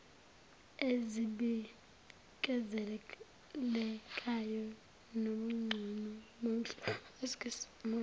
ezibikezelekayo nobungcono bomhlomulo